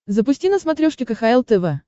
запусти на смотрешке кхл тв